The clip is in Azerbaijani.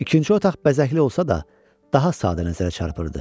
İkinci otaq bəzəkli olsa da, daha sadə nəzərə çarpırdı.